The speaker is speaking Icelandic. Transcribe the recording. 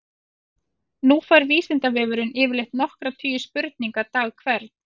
Nú fær Vísindavefurinn yfirleitt nokkra tugi spurninga dag hvern.